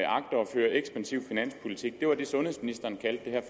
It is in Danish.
føre ekspansiv finanspolitik det var det sundhedsministeren kaldte